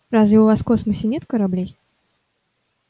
разве у вас в космосе нет кораблей